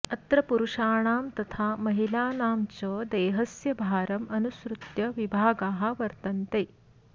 अत्र पुरुषाणां तथा महिलानां च देहस्य भारम् अनुसृत्य विभागाः वर्तन्ते